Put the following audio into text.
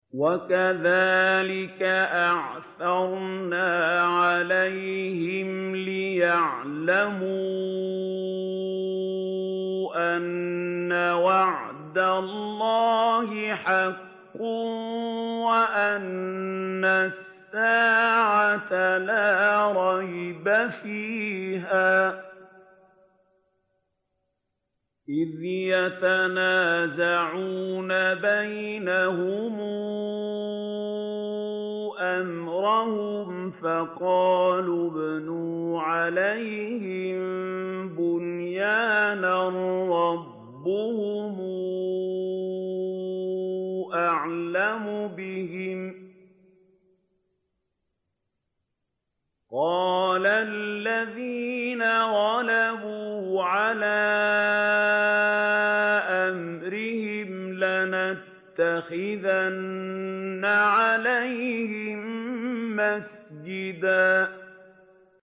وَكَذَٰلِكَ أَعْثَرْنَا عَلَيْهِمْ لِيَعْلَمُوا أَنَّ وَعْدَ اللَّهِ حَقٌّ وَأَنَّ السَّاعَةَ لَا رَيْبَ فِيهَا إِذْ يَتَنَازَعُونَ بَيْنَهُمْ أَمْرَهُمْ ۖ فَقَالُوا ابْنُوا عَلَيْهِم بُنْيَانًا ۖ رَّبُّهُمْ أَعْلَمُ بِهِمْ ۚ قَالَ الَّذِينَ غَلَبُوا عَلَىٰ أَمْرِهِمْ لَنَتَّخِذَنَّ عَلَيْهِم مَّسْجِدًا